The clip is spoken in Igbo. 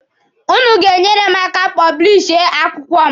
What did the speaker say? Ụnụ ga-eneyere m aka a pọblishi akwụkwọ m.